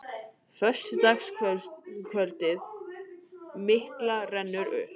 Föstudagskvöldið mikla rennur upp.